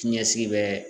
Siniɲɛsigi bɛ